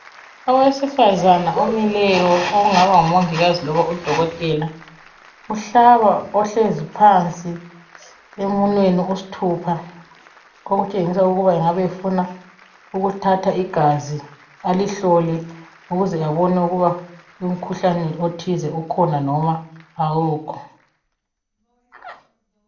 Owesifazane omileyo ongaba ngumongikazi loba udokotela, uhlaba ohlezi phansi emunweni usithupha okutshengisa ukuba angabe efuna ukuthatha igazi alihlole ukuze abone ukuba umkhuhlane othize ukhona noma awukho.